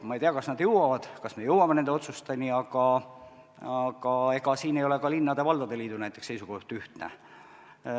Ma ei tea, kas me jõuame nende otsusteni, aga ega siin ei ole ka näiteks linnade ja valdade liidu seisukoht ühtne.